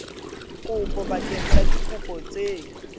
kopo bakeng sa dikopo tse